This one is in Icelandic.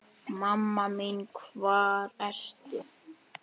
Mamma mín hvar ertu?